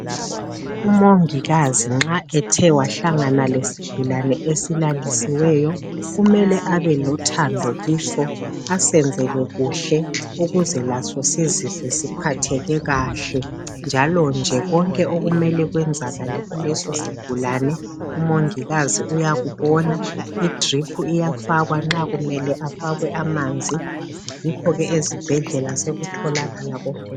Umongikazi nxa ethe wahlangana lesigulani esilalisiweyo kumele abe lothando kiso asenzele kuhle ukuze laso sizizwe siphatheke kahle njalo nje konke kumele kwenzakale kuleso sigulani umongikazi uyakubona. Idrip iyafakwa nxa kumele afakwe amanzi, yikho ke ezibhendlela sokutholakala konke.